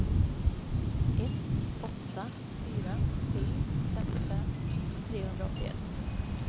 ett åtta fyra sju femtiofem trehundraåttioett